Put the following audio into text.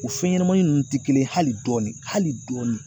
O fɛn ɲɛnɛmanin ninnu tɛ kelen ye hali dɔɔnin hali dɔɔnin.